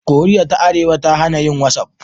Koriya ta Arewa ta hana yin whatsapp.